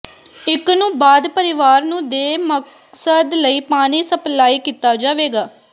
ਇਕ ਨੂੰ ਬਾਅਦ ਪਰਿਵਾਰ ਨੂੰ ਦੇ ਮਕਸਦ ਲਈ ਪਾਣੀ ਸਪਲਾਈ ਕੀਤਾ ਜਾਵੇਗਾ